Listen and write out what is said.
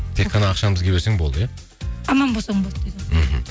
тек қана ақшаны бізге берсең болды иә аман болсаң болды дейді ғой мхм